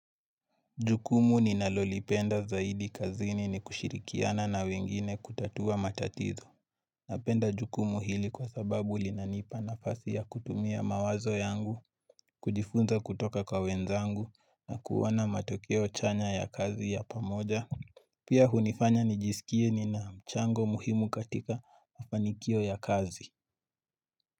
Jukumu ni nalolipenda zaidi kazini ni kushirikiana na wengine kutatua matatizo. Napenda jukumu hili kwa sababu linanipa nafasi ya kutumia mawazo yangu, kujifunza kutoka kwa wenzangu na kuona matokeo chanya ya kazi ya pamoja. Pia hunifanya nijisikie ni na mchango muhimu katika mafanikio ya kazi.